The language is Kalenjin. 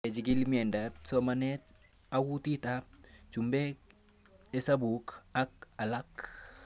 Kechikil miendop somanet a kutit ab chumbek hesabuk ak alak